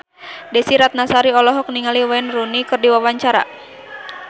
Desy Ratnasari olohok ningali Wayne Rooney keur diwawancara